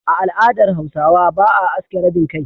A al'adar Hausawa, ba a aske rabin kai.